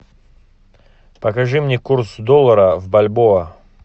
покажи мне курс доллара в бальбоа